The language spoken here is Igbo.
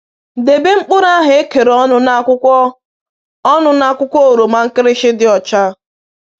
Debe mkpụrụ ahụ ekere ọnụ na akwụkwọ ọnụ na akwụkwọ oroma nkịrịshị dị ọcha.